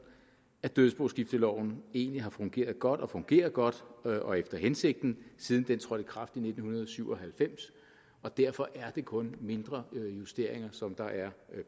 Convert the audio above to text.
at dødsboskifteloven egentlig har fungeret godt og fungerer godt og efter hensigten siden den trådte i kraft i nitten syv og halvfems og derfor er det kun mindre justeringer som der er